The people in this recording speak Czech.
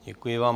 Děkuji vám.